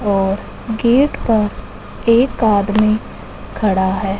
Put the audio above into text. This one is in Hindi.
और गेट पर एक आदमी खड़ा है।